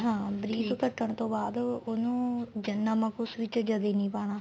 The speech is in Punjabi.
ਹਾਂ ਬਰੀਕ ਕੱਟਣ ਤੋਂ ਬਾਅਦ ਉਹਨੂੰ ਜ ਨਮਕ ਉਸ ਵਿੱਚ ਨਮਕ ਉਸ ਵਿੱਚ ਜਦੇ ਨਹੀਂ ਪਾਣਾ